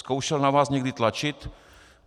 Zkoušel na vás někdy tlačit?